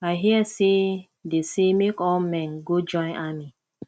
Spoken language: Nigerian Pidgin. i hear say dey say make all the men go join army